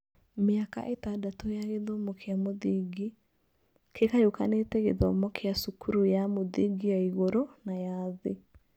Mĩaka ĩtandatũ ya gĩthomo kĩa mũthingi (kĩgayũkanĩte gĩthomo kĩa cukuru ya mũthingi ya igũrũ na ya thĩ)